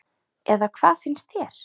Eða hvað finnst þér?